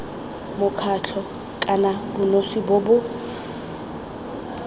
mokgatlho kana bonosi bo bo